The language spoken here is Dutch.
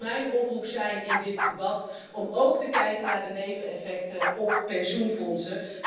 Dat zou dus mijn oproep zijn in dit debat, om ook te kijken naar de neveneffecten op pensioenfondsen.